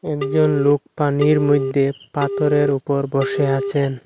একজন লোক পানির মইধ্যে পাথরের ওপর বসে আছেন।